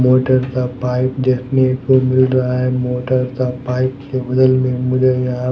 motor का pipe देखने को मिल रहा है मोटर का पाइप के बगल में मुझे यहां--